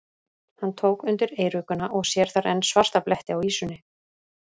Hann tók undir eyruggana og sér þar enn svarta bletti á ýsunni.